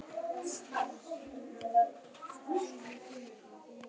Það reynist heldur fátæklegur garður.